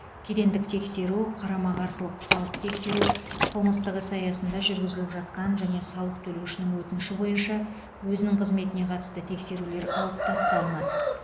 кедендік тексеру қарама қарсылық салық тексеру қылмыстық іс аясында жүргізіліп жатқан және салық төлеушінің өтініші бойынша өзінің қызметіне қатысты тексерулер алып тасталынады